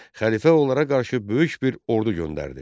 Xəlifə onlara qarşı böyük bir ordu göndərdi.